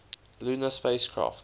lunar spacecraft